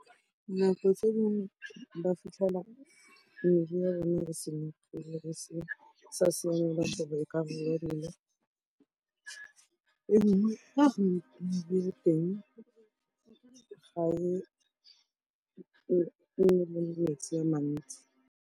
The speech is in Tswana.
Nako tse dingwe ba fitlhela metsi a mantsi.